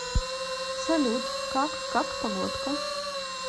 салют как как погодка